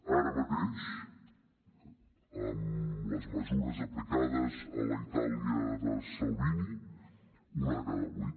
ara mateix amb les mesures aplicades a la itàlia de salvini una de cada vuit